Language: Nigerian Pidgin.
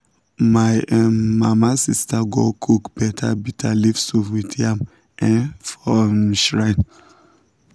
my um mama sister go cook better bitterleaf soup with yam um for um shrine.